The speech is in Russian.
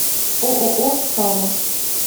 ооо сава